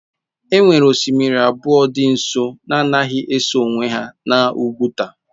E nwere osimiri abụọ dị nso na-anaghị eso onwe ha n'Oguta